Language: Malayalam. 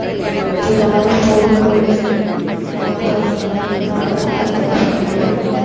പിതാവ്‌ പോൾ കൊച്ചിൻ കലാഭവനിലെ തബ്ല അദ്ധ്യാപകനായിരുന്നു.